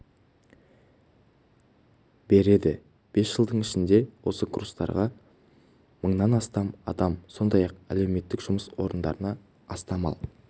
береді бес жылдың ішінде осы курстарға мыңнан астам адам сондай-ақ әлеуметтік жұмыс орындарына астам ал